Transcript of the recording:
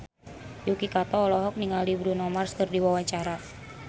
Yuki Kato olohok ningali Bruno Mars keur diwawancara